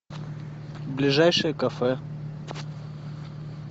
ближайшее кафе